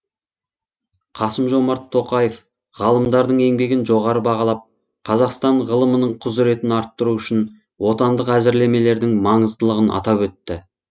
қасым жомарт тоқаев ғалымдардың еңбегін жоғары бағалап қазақстан ғылымының құзыретін арттыру үшін отандық әзірлемелердің маңыздылығын атап өтті